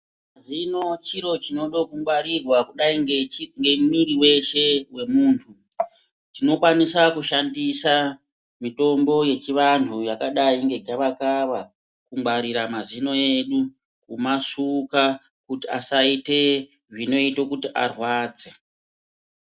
Zviro chiro chinoda kungwarirwa kudai ngemwiri weshe wemuntu chinokwanisa kushandisa mitombo yechivantu yakadai ngegava kava kungwarira mazino edu kumasuka kuti asaita zvinoita kuti arwadze.